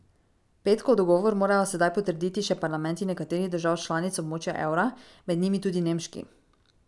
Petkov dogovor morajo sedaj potrditi še parlamenti nekaterih držav članic območja evra, med njimi tudi nemški.